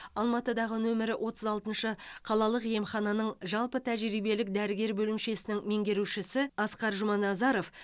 алматыдағы нөмірі отыз алтыншы қалалық емхананың жалпы тәжірибелік дәрігер бөлімшесінің меңгерушісі асқар жұманазаров